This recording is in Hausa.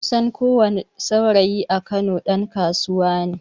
Kusan ko wani saurayi a kano ɗan kasuwa neh